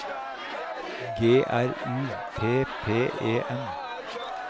G R U P P E N